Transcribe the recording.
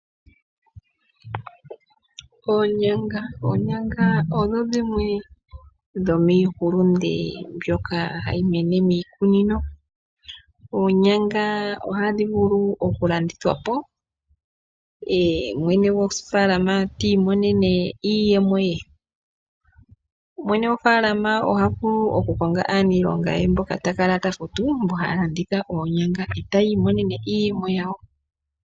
Oonyanga odho dhimwe dho miihulunde mbyoka hayi mene miikunino. Oonyanga ohadhi vulu okulandithwapo ye mwene gofalama ta imonene iiyemo ye. Mwene gofalama oha vulu okukonga aaniilonga ye mboka ta kala ta futu mbo haya landitha oonyanga, e taya imonene iiyemo yawo.